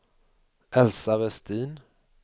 Elsa Westin